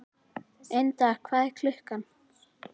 Ynda, hvað er klukkan?